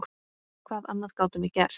Hvað annað gátum við gert?